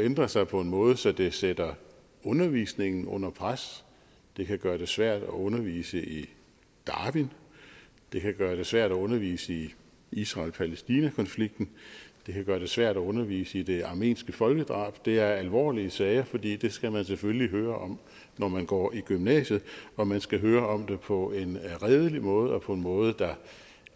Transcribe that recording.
ændre sig på en måde så det sætter undervisningen under pres det kan gøre det svært at undervise i darwin det kan gøre det svært at undervise i israel palæstina konflikten det kan gøre det svært at undervise i det armenske folkedrab det er alvorlige sager fordi det skal man selvfølgelig høre om når man går i gymnasiet og man skal høre om det på en redelig måde og på en måde der